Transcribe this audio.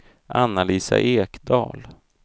Anna-Lisa Ekdahl